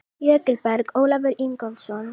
Jökulberg: Ólafur Ingólfsson.